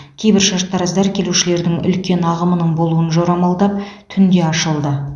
кейбір шаштараздар келушілердің үлкен ағымының болуын жормалдап түнде ашылды